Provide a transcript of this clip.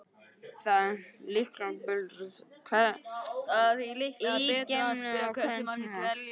Það er því líklega betra að spyrja hversu margir dvelja í geimnum á hverjum tíma.